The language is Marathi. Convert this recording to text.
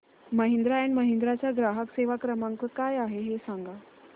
महिंद्रा अँड महिंद्रा चा ग्राहक सेवा क्रमांक काय आहे हे सांगा